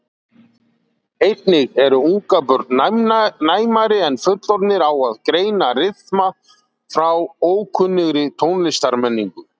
Einnig eru ungbörn næmari en fullorðnir á að greina rytma frá ókunnugri tónlistarmenningu.